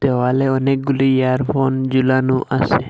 দেওয়ালে অনেকগুলি ইয়ারফোন জুলানো আসে।